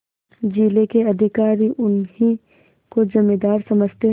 जिले के अधिकारी उन्हीं को जमींदार समझते